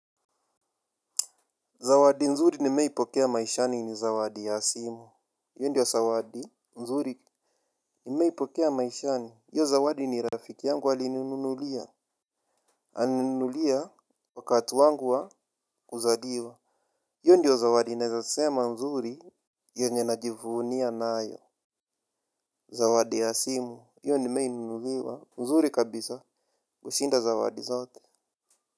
Zawadi nzuri nimeipokea maishani ni zawadi ya simu. Hiyo ndio zawadi nzuri nimeipokea maishani. Hiyo zawadi ni rafiki yangu alininunulia. Alininunulia wakati wangu wa kuzaliwa. Hiio ndiyo zawadi naeza sema nzuri yenye najivunia nayo. Zawadi ya simu hiyo nimenunuliwa nzuri kabisa kushinda zawadi zote.